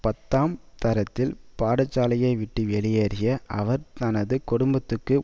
பத்தாம் தரத்தில் பாடசாலையை விட்டு வெளியேறிய அவர் தனது குடும்பத்துக்கு